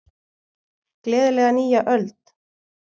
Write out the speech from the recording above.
Gleðilega nýja öld!